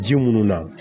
Ji munnu na